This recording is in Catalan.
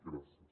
gràcies